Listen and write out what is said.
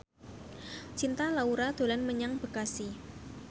Cinta Laura dolan menyang Bekasi